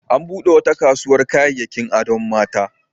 An buɗe wata kasuwar kayayyakin adon mata.